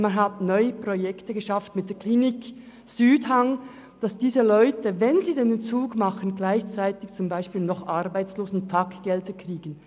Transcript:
Man hat neue Projekte mit der Klinik Südhang lanciert, damit diese Leute, wenn sie den Entzug machen, zum Beispiel noch Arbeitslosentaggelder kriegen.